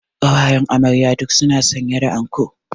Ƙawayen amarya duk su na sanye da anko